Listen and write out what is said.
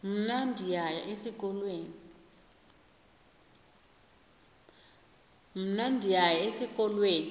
mna ndiyaya esikolweni